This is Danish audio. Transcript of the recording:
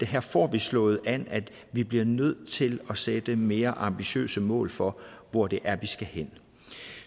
her får vi slået an at vi bliver nødt til at sætte mere ambitiøse mål for hvor det er vi skal hen